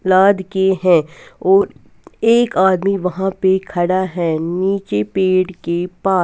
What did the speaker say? सलाद के है और एक आदमी वहां पे खड़ा है नीचे पेड़ के पास।